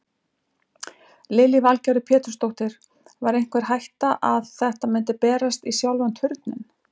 Lillý Valgerður Pétursdóttir: Var einhver hætta að þetta myndi berast í sjálfan Turninn?